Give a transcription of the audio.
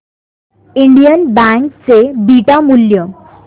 Indian bank चे beta मूल्य